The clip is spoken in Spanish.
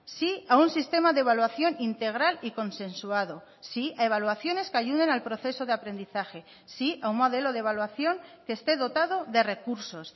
sí a un sistema de evaluación integral y consensuado sí a evaluaciones que ayuden al proceso de aprendizaje sí a un modelo de evaluación que esté dotado de recursos